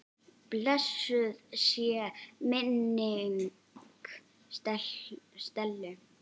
Blessuð sé minning Stellu.